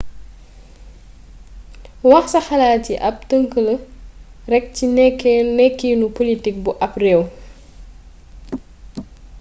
wax sa xalaat yi ab tëngk la rekk ci nekkinu politik bu ab réew